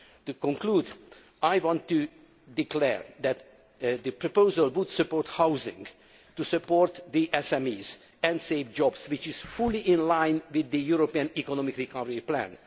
April. In conclusion, I want to declare that the proposal would support housing, support the SMEs and save jobs, which is fully in line with the European Economic Recovery